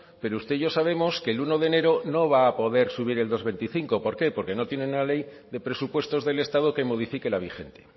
pero usted y yo sabemos que el uno de enero no va a poder subir el dos coma veinticinco por qué porque no tienen la ley de presupuestos del estado que modifique la vigente